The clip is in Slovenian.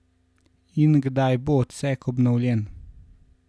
In kdaj bo odsek obnovljen?